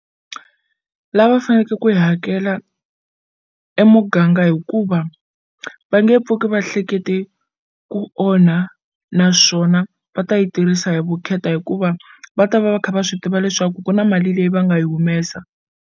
Lava faneke ku hi hakela emuganga hikuva va nge pfuki va hlekete ku onha naswona va ta yi tirhisa hi vukheta hikuva va ta va va kha va swi tiva leswaku ku na mali leyi va nga yi humesa.